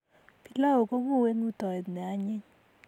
Pilau konguu eng ngutoet ne anyiny